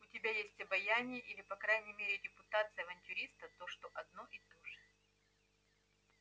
у тебя есть обаяние или по крайней мере репутация авантюриста что одно и то же